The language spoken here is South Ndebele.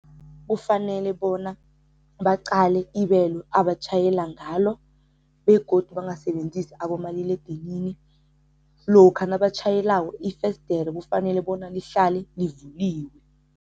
Kufanele bona baqale ibelo abatjhayela ngalo begodu bangasebenzisi abomaliledinini. Lokha nabatjhayelako ifesidere kufanele bona lihlale livuliwe.